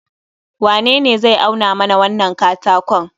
wanene zai auna mana wannan katakon?